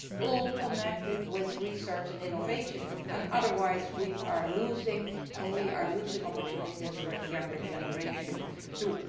All of this relates to research and innovation, otherwise we are losing, and we are losing opportunities for the younger generation too.